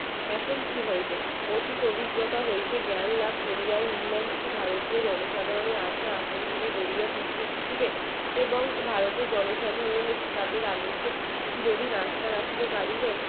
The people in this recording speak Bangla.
অতি অভিজ্ঞতা হইতে জ্ঞান লাভ করিলে ইংল্যান্ড ভারতীয় জনসাধারণের আশা-আকাঙ্ক্ষাকে গড়িয়া তুলিতে শিখলেন এবং ভারতের জনসাধারণের কি তাদের চিরদিন আস্থা রাখিতে পারিবেন